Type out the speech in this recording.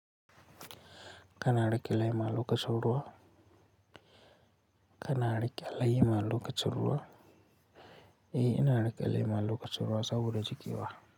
Kana rike lema lokacin ruwa. Kana rike lema lokacin ruwa? Ae ina reke lema lokacin ruwa saboda jiki wa.